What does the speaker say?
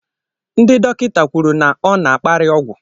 Ndị dọkịta kwuru na ọ na-akpári ọgwụ